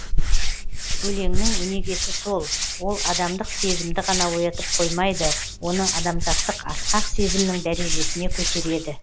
өлеңнің өнегесі сол ол адамдық сезімді ғана оятып қоймайды оны адамзаттық асқақ сезімнің дәрежесіне көтереді